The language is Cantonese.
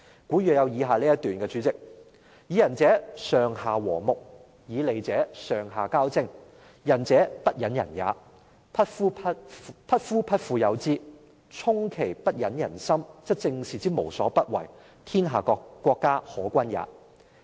代理主席，古語有云："以仁者，上下和睦，以利者，上下交征，仁者不忍人也，匹夫匹婦有之，充其不忍人心，則政事之無所不為，天下國家可均也。